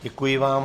Děkuji vám.